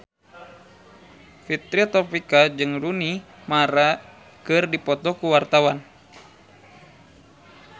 Fitri Tropika jeung Rooney Mara keur dipoto ku wartawan